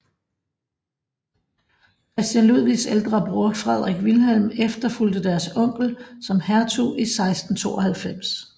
Christian Ludvigs ældre bror Frederik Vilhelm efterfulgte deres onkel som hertug i 1692